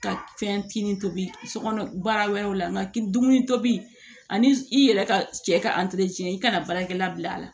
Ka fɛn kin tobi so kɔnɔ baara wɛrɛw la nga dumuni tobi ani i yɛrɛ ka cɛ ka i kana baarakɛla bila a la